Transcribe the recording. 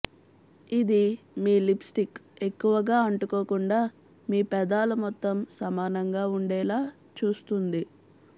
ఇది మీ లిప్స్టిక్ ఎక్కువగా అంటుకోకుండా మీ పెదాలమొత్తం సమానంగా ఉండేలా చూస్తుంది